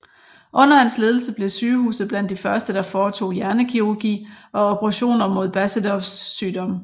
Under hans ledelse blev sygehuset blandt de første der foretog hjernekirurgi og operationer mod Basedows sygdom